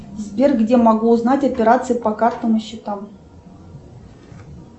сбер где могу узнать операции по картам и счетам